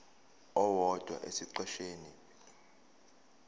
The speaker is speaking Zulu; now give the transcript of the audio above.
owodwa esiqeshini b